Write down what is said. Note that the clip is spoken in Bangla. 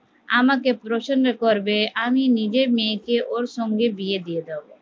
আমাকে প্রসন্ন করবে আমি নিজের মেয়েকে ওর সঙ্গে বিয়ে দিয়ে দেব